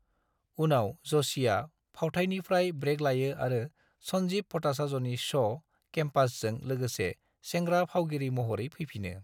उनाव, ज'शीआ फावथाइनिफ्राय ब्रेक लायो आरो संजीव भट्टाचार्यनि श' केम्पासजों लोगोसे सेंग्रा फावगिरि महरै फैफिनो।